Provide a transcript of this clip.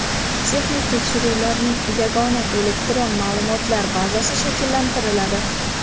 Texnik tekshiruvlarning yagona elektron ma’lumotlar bazasi shakllantiriladi.